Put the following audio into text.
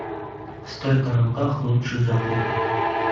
стойка на руках лучшие заходы